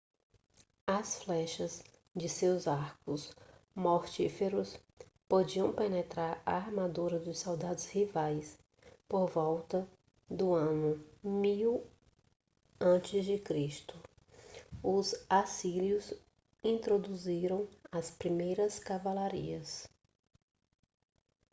as flechas de seus arcos mortíferos podiam penetrar a armadura dos soldados rivais por volta do ano 1000 a.c. os assírios introduziram as primeiras cavalarias